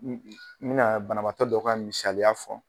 N be na banabaatɔ dɔ ka misaliya fɔ.